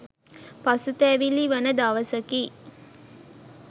පසුතැවිලි වන දවසකි.